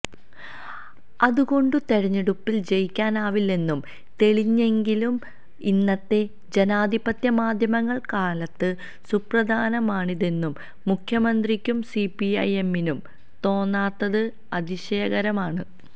അതുകൊണ്ടു തെരഞ്ഞെടുപ്പിൽ ജയിക്കാനാവില്ലെന്നു തെളിഞ്ഞെങ്കിലും ഇന്നത്തെ ജനാധിപത്യ മാധ്യമകാലത്ത് സുപ്രധാനമാണിതെന്നു മുഖ്യമന്ത്രിക്കും സിപിഐഎമ്മിനും തോന്നാത്തത് അതിശയകരമാണ്